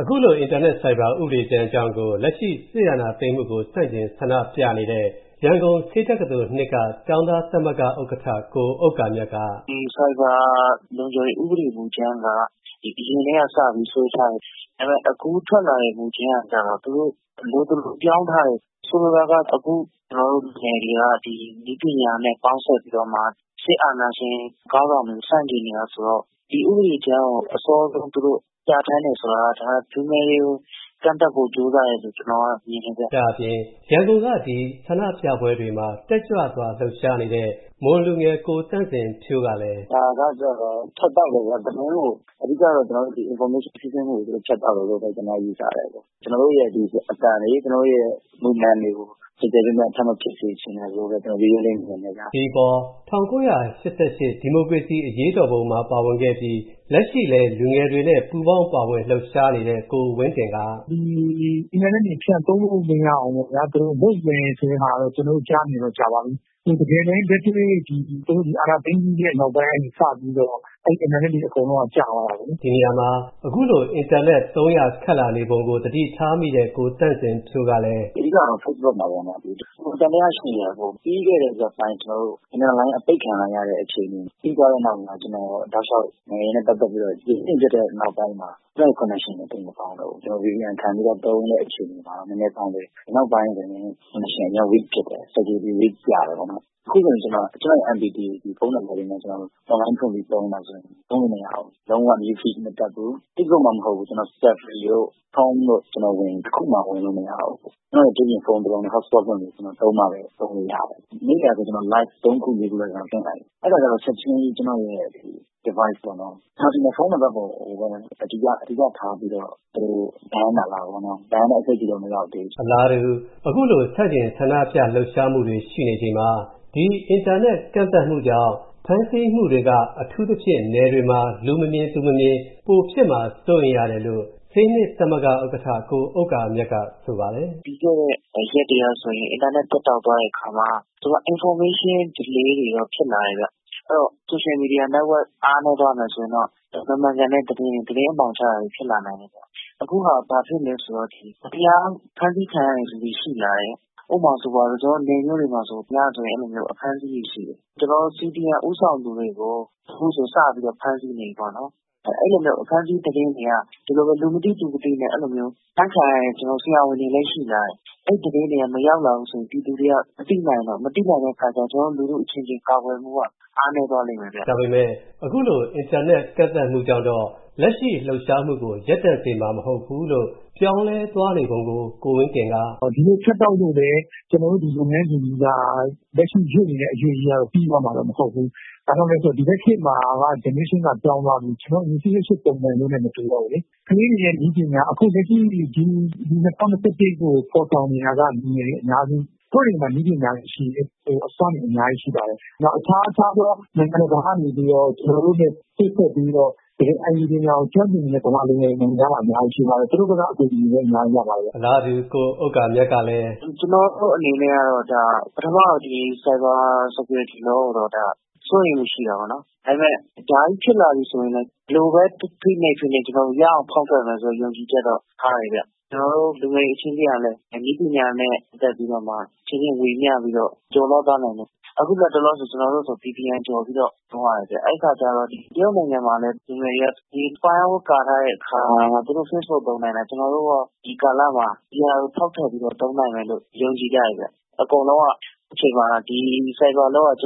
အခုလို အင်တာနက်ဆိုင်ဘာလုံခြုံရေးဥပဒေကြမ်းအကြောင်းကို လက်ရှိ စစ်အာဏာသိမ်းမှုကို ဆန့်ကျန် ဆန္ဒပြနေတဲ့ ရန်ကုန် ဆေးတက္ကသိုလ် က ကျောင်းသားသမဂ္ဂ ဥက္ကဋ္ဌ ကို ဥက္ကာမြတ်က “ ဒီဆိုင်ဘာလုံခြုံရေးဥပဒေကြမ်းက အရင်ကတည်းက စပြီးတော့ ဆွဲထားတယ်။ ဒါပေမယ့် အခုထွက်လာတဲ့ မူကြမ်းက သူတို့ လိုသလို ပြောင်းထားတယ်။ ဆိုလိုတာက အခုကျနော်တို့ လူငယ်တွေက ဒီ နည်းပညာနဲ့ ပေါင်းစပ်ပြီးတော့မှ စစ်အာဏာရှင် ခေါင်းဆောင်တွေကို ဆန့်ကျင်တာဆိုတော့ ဒီ ဥပဒေကြမ်းကို အစောဆုံး သူတို့ ပြဌာန်းတယ်ဆိုတာကတော့ ဒါ လူငယ်တွေကို ကန့်သတ်ဖို့ ကြိုးစားတယ်လို့ ကျနော်မြင်ပါတယ်။” ဒါ့အပြင် ရန်ကုန်က ဆန္ဒပြပွဲတွေမှာ တက်ကြွစွာ လှုပ်ရှားနေတဲ့ မွန်လူငယ် ကိုသန့်စင်ဖြိုးကလည်း “ ဒါကတော့ ဖြတ်တောက်တာပေါ့ သတင်းကို အဓိကတော့ Information စီးဆင်းမှုကို သူတို့ ဖြတ်တောက်တာလို့ပဲ ကျနော်ယူဆတယ်။ ကျနော်တို့ရဲ့ အသံတွေ ကျနော်တို့ရဲ့ Movement တွေကို ကျယ်ကျယ်ပြန့်ပြန့် ထပ်မဖြစ်စေချင်လို့ ကျနော်ရိုးရိုးလေးပဲမြင်တယ်ဗျ။” ဒီအပေါ် ၁၉၈၈ ဒီမိုကရေစီ အရေးတော်ပုံမှာ ပါဝင်ခဲ့ပြီး လက်ရှိလည်း လူငယ်တွေနဲ့ ပူးပေါင်းပါဝင် လှုပ်ရှားနေတဲ့ ကိုဝင်းတင်က “ဒီ အင်တာနက်တွေ သုံးလို့မရအောင်ပေါ့ဗျာ သူတို့လုပ်မယ်ဆိုတာတော့ ကျနော်တို့ကြားနေတာ ကြာပါပြီ။ တကယ်လက်တွေ့ သူတို့ အာဏာသိမ်းပြီးတဲ့ နောက်ပိုင်းကနေစပြီးတော့ အဲဒီ အင်တာနက်တွေ အကုန်လုံးက ကျသွားတာပေါ့လေ။” ဒီနေရာမှာ အခုလို အင်တာနက် သုံးရ ခက်လာနေပုံကို သတိထားမိတဲ့ ကိုသန့်စင်ဖြိုးကလည်း “အဓိကတော့ Facebook မှာပေါ့နော် ပိုသံသယရှိတယ်။ ပြီးခဲ့တဲ့ရက်ပိုင်း ကျနော်တို့ အင်တာနက်အပိတ်ခံလိုက်ရတဲ့ အခြေအနေ ပြီးသွားတဲ့နောက်မှာ ကျနော် တောက်လျှောက် နိုင်ငံရေးနဲ့ ပတ်သက်ပြီးကြည့်တဲ့နောက်ပိုင်းမှာ ကျနော့် Connection တွေမကောင်းတော့ဘူး။ ကျနော် VPN ခံပြီးသုံးတဲ့အခြေအနေမှာ နည်းနည်းကောင်းတယ်၊ နောက်ပိုင်းမှာ Connection အရမ်း weak ဖြစ်တယ်။ အခုဆိုရင် ကျနော့် MPT ဖုန်းလေးနဲ့ အွန်လိုင်းဖွင့်ပြီးသုံးတာဆိုရင် သုံးလို့မရဘူး၊ လုံး၀ New Feed မတက်ဘူး။ Facebook မှ မဟုတ်ဘူး Safari တို့ Chrome တို့မှာဝင်ရင် တခုမှ ဝင်လို့မရဘူး။ ကျနော့် တခြားဖုန်းကနေ Hotspot လုပ်ပြီးတော့သုံးမှပဲ သုံးလို့ရတယ်။ ဒီနေ့နေ့လည်က ကျနော် Live ၃ ခု ၄ ခုလောက် လွှင့်လိုက်တယ်။ အဲဒါကျတော့ ချက်ချင်းကြီး ကျနော့်ရဲ့ device ပေါ့နော် ၊ ကျနော်ထင်တယ် ဖုန်းနံပတ်ပေါ်ကိုပဲ အဓိကထားပြီးတော့ သူတို့ ban တာလားပေါ့နော် ၊ အခုတော့ Ban တဲ့ အဆင့်တော့ မရောက်သေးဘူး။” အလားတူ အခုလို ဆန့်ကျင်ဆန္ဒပြနေတဲ့ လှုပ်ရှားမှုတွေ ရှိနေချိန်မှာ ဒီ အင်တာနက် ကန့်သတ်မှုကြောင့် ဖမ်းဆီးမှုတွေက အထူးသဖြင့် နယ်တွေမှာ လူမမြင် သူမမြင် ပိုဖြစ်မှာ စိုးရိမ်ရတယ်လို့ ဆေးတက္ကသိုလ် က ကျောင်းသားသမဂ္ဂ ဥက္ကဋ္ဌ ကို ဥက္ကာမြတ်က ဆိုပါတယ်။ “ပြီးခဲ့တဲ့ ရက်တွေကဆိုရင် အင်တာနက် ပျက်တောက်သွားတဲ့အခါမှာ သူက Information delay တွေရော ဖြစ်လာတယ်ခင်ဗျ။ အဲဒီတော့ Social Media Network အားနည်းသွားမယ်ဆိုရင်တော့ မမှန်ကန်တဲ့ သတင်းတွေ ၊ သတင်းအမှောင်ချတာတွေ ဖြစ်လာနိုင်တယ်။ အခုက ဘာဖြစ်သလဲဆိုတော့ ဒီ မတရား ဖမ်းဆီးခံရတဲ့လူတွေ ရှိလာတယ်။ ဥပမာဆိုရင် ကျနော်တို့ နယ်မြို့တွေမှာဆိုရင် ညဆိုရင် အဲဒီလိုမျိုး အဖမ်းအဆီးတွေရှိတယ်။ CDM ဦးဆောင်သူတွေကို အခုဆိုရင် စပြီးတော့ ဖမ်းနေပြီပေါ့နော်။ အဲဒီလိုမျိုး အဖမ်းအဆီးသတင်းတွေက အဲလိုပဲ လူမသိ သူမသိနဲ့ အဖမ်းခံရတဲ့ ဆရာဝန်တွေလည်း ရှိလာတယ်။ အဲဒီသတင်းတွေက မရောက်လာဘူးဆိုရင် ပြည်သူတွေက မသိနိုင်ဘူး။ မသိနိုင်တဲ့အခါကျရင် ကျနော်တို့ လူထုအချင်းချင်း ကာကွယ်ဖို့က အားနည်းသွားလိမ့်မယ်ဗျ။” ဒါပေမယ့် အခုလို အင်တာနက် ကန့်သတ်မှုကြောင့်တော့ လက်ရှိ လှုပ်ရှားမှုကို ရပ်တန့်စေမှာ မဟုတ်ဘူးလို့ ပြောင်းလဲသွားနေပုံကို ကိုဝင်းတင်က “ဒီလို ဖြတ်တောက်လို့လည်း ကျနော်တို့ လုပ်ငန်းစဉ်ကြီးက လက်ရှိ ရွေ့နေတဲ့ အရွေ့ကြီးကတော့ ပြီးသွားမှာတော့ မဟုတ်ဘူး။ ဘာကြောင့်လဲဆိုတော့ ဒီဘက်ခေတ်မှာ generation ပြောင်းသွားပြီ။ ကျနော်တို့ ၈၈ ပုံစံမျိုးနဲ့ မတူတော့ဘူးလေ။ ကလေးတွေရဲ့ နည်းပညာ အခုလက်ရှိ ဒီ ၂၀၂၁ တို့ကို ဖော်ဆောင်နေတာက လူငယ်တွေ အများစု ။ သူတို့တွေမှာ နည်းပညာတွေရှိတယ်။ အစွမ်းတွေ အများကြီးရှိပါတယ်။ နောက် အခြားအခြားသော နိုင်ငံတကာကနေပြီးတော့ ကျနော်တို့နဲ့ ချိတ်ဆက်ပြီးတော့ တကယ် IT ပညာကို ကျွမ်းကျင်နေတဲ့ မြန်မာလူငယ်တွေ နိုင်ငံခြားမှာ အများကြီးရှိပါတယ်။ သူတို့ဘက်က အကူအညီတွေလည်း အများကြီးရပါတယ်ခင်ဗျ။” အလားတူ ကို ဥက္ကာမြတ်ကလည်း “ကျနော်တို့အနေနဲ့ကတော့ Cyber security Law ကိုတော့ စိုးရိမ်မှုရှိတာပေါ့နော် ။ ဒါပေမယ့် ဒါကြီးဖြစ်လာပြီဆိုရင် ဘယ်လိုပဲ ဖိနှိပ်ဖိနှိပ် ကျနော်တို့ ရအောင်ဖောက်ထွက်မယ်ဆိုတဲ့ ယုံကြည်ချက်တော့ ထားတယ်ခင်ဗျ။ ကျနော်တို့ လူငယ်တွေအချင်းချင်းကလည်း နည်းပညာနဲ့ ပတ်သက်ပြီးတော့ အချင်းချင်း ဝေမျှပြီးတော့ ကျော်လွှားသွားနိုင်ဖို့ ။ အခုလက်တလောဆို ကျနော်တို့ဆို VPN ကျော်ပြီးတော့သွားရတယ်ခင်ဗျ။ တရုတ်နိုင်ငံမှာလည်း လူငယ်တွေက firewall ကာထားတာတောင်မှာ သူတို့ Facebook သုံးနိုင်တာ၊ ကျနော်တို့ရော ဒီကာလမှာ ဒါကို ဖောက်ထွက်ပြီးတော့သုံးနိုင်မယ်လို့ ယုံကြည်ကြတယ်ခင်ဗျ။ အကုန်လုံးက အခုအချိန်မှာ ဒီ Cyber security Law က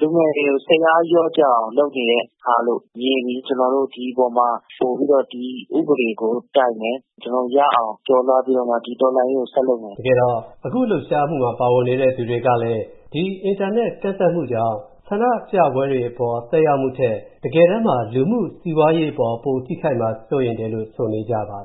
လူငယ်တွေကို စိတ်အားလျော့ကျသွားအောင် လုပ်နေတဲ့ဟာလို့ မြင်ပြီး ကျနော်တို့ဒီ အပေါ်မှာ ပိုပြီးတော့ ဒီ ဥပဒေကို တိုက်မယ်၊ ကျနော်တို့ ရအောင် ကျော်လွှားပြီးတော့ဒီတော်လှန်ရေးကို ဆက်လုပ်မှာပါ။” တကယ်တော့ အခုလုပ်ရှားမှုမှာ ပါဝင်နေတဲ့ သူတွေကလည်း ဒီ အင်တာနက် ကန့်သတ်မှုကြောင့် ဆန္ဒပြပွဲတွေအပေါ် သက်ရောက်တဲ့ ၊ တကယ်တမ်းမှာ လူမှုစီးပွားရေးအပေါ် ပိုထိခိုက်မှာ စိုးရိမ်တယ်လို့ ဆိုနေပါတယ်